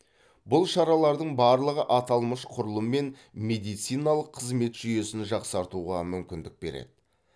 бұл шаралардың барлығы аталмыш құрылым мен медициналық қызмет жүйесін жақсартуға мүмкіндік береді